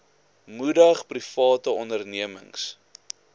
moedig private ondernemings